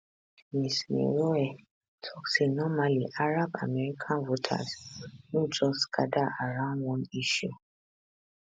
ms meroueh tok say normally arab american voters no just gada around one issue